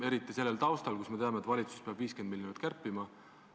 Eriti sellel taustal, kus me teame, et valitsus peab 50 miljonit kärpima.